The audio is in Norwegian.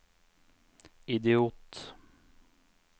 idiot